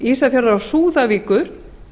ísafjarðar og súðavíkur